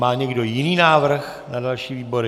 Má někdo jiný návrh na další výbory?